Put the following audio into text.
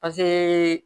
Pase